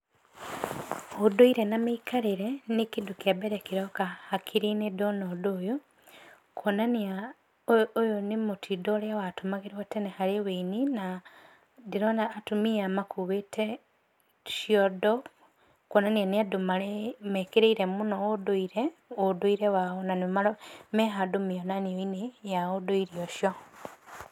Ũndũire na mĩikarĩre nĩ kĩndũ kĩambere kĩroka hakiri-nĩ ndona ũndũ ũyũ, kuonania ũyũ nĩ mũtindo ũrĩa watũmagĩrwo tene harĩ ũini, na ndĩrona atumia aya makuĩte ciondo, kuonania nĩ andũ mekĩrĩire mũno ũndũire, ũndũire wao na mehandũ mĩonanio-inĩ ya ũndũire ũcio.